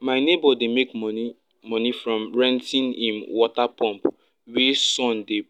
my neighbor dey make money money from renting him water pump wey sun dey